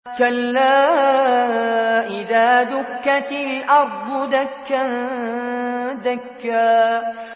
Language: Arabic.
كَلَّا إِذَا دُكَّتِ الْأَرْضُ دَكًّا دَكًّا